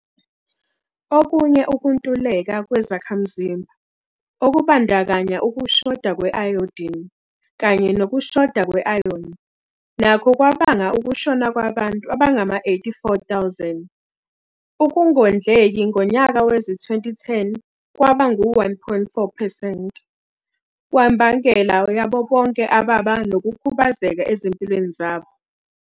Okunye ukuntuleka kwezakhamzimba, okubandakanya ukushoda kwe-ayodini kanye nokushoda kwe-ayoni, nakho kwabanga ukushona kwabantu abangama-84,000. Ukungondleki ngonyaka wezi-2010 kwaba ngu-1.4 percent wembangela yabo bonke ababa nokukhubazeka ezimpilweni zabo.